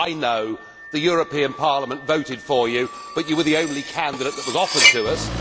I know the European Parliament voted for you, but you were the only candidate that was offered to us.